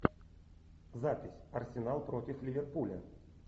запись арсенал против ливерпуля